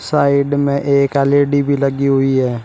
Side में एक L E D भी लगी हुई है।